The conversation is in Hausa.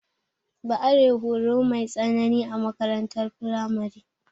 Ba are horo mai tsanani a makarantar firamare.